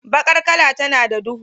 Bakar kala tana da duhu.